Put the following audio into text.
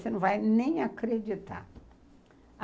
Você não vai nem acreditar.